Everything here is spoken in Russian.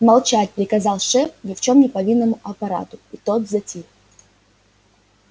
молчать приказал шеф ни в чем не повинному аппарату и тот затих